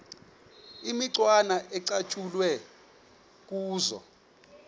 imicwana ecatshulwe kuzo